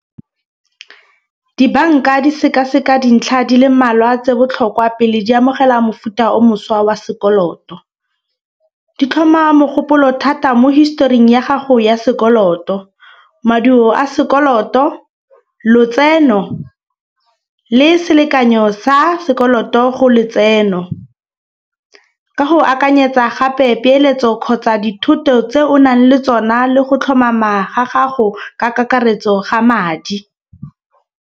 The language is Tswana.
Dibanka di sekaseka dintlha di le mmalwa tse botlhokwa pele di amogela mofuta o mošwa wa sekoloto. Di tlhoma mogopolo thata mo historing ya gago ya sekoloto, maduo a sekoloto, lotseno le selekanyo sa sekoloto go letseno. Ka go akanyetsa gape peeletso kgotsa dithoto tse o nang le tsona le go tlhomama ga gago ka kakaretso ga madi.